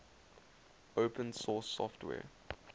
open source software